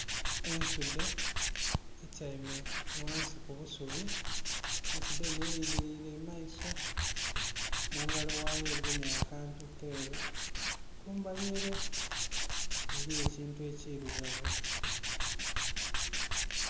Ensudhe etyaime ghansi ku busubi, ensudhe enho elingilire mu maiso. Mu ngalo ghayo egemye akantu keeru. Kumbali ere eliyo ekintu ekirugavu.